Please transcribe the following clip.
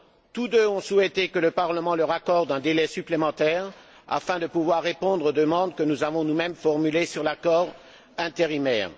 Tous deux ont souhaité que le Parlement leur accorde un délai supplémentaire afin de pouvoir répondre aux demandes que nous avons nous mêmes formulées sur l'accord intérimaire.